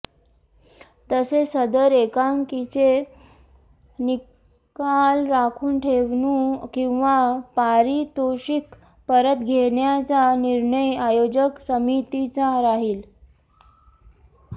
तसेच सदर एकांकिकेचा निकाल राखून ठेवूणे किंवा पारितोषिक परत घेण्याचा निर्णय आयोजक समितीचा राहील